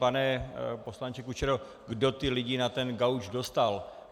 Pane poslanče Kučero, kdo ty lidi na ten gauč dostal?